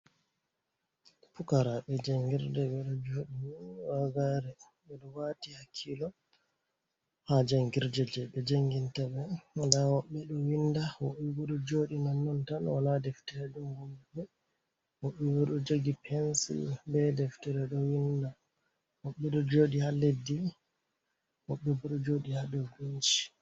Pukaraaɓe janngirde ɓe ɗo jooɗi wagare, ɓe ɗo waati hakkilo haa jangirde ,jey ɓe janginta ɓe. Ndaa woɓɓe ɗo winnda ,woɓɓe bo ɗo jooɗi nonnon tan wala deferens. dongombe wo iwodo jagi pensil be deftere do winda mobedo jodi ha leddi moɓbe bodo jodi ha do binci